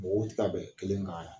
Mɔgɔ tɛ ka bɛn kelen kan yan